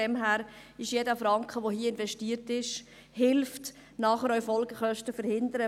Deshalb hilft jeder Franken, der hier investiert wird, Folgekosten zu verhindern.